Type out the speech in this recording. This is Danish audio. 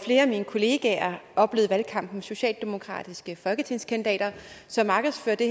flere af mine kollegaer oplevede i valgkampen socialdemokratiske folketingskandidater som markedsførte